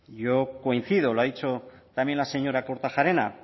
yo coincido lo ha dicho también la señora kortajarena